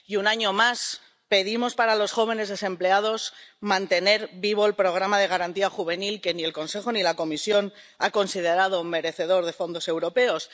Y un año más, pedimos para los jóvenes desempleados mantener vivo el programa de Garantía Juvenil, que ni el Consejo ni la Comisión han considerado merecedor de fondos europeos.